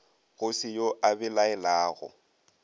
go se yo a belaelago